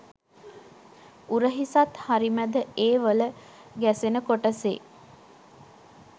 උරහිසත් හරි මැද ඒ වල ගැසෙන කොටසේ